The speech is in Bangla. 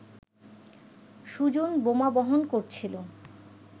সুজন বোমা বহন করছিল